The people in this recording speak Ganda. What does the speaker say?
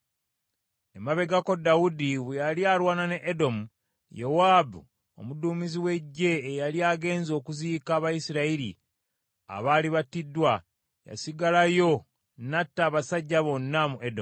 Emabegako Dawudi bwe yali alwana ne Edomu, Yowaabu omuduumizi w’eggye eyali agenze okuziika Abayisirayiri abaali battiddwa, yasigalayo n’atta abasajja bonna mu Edomu.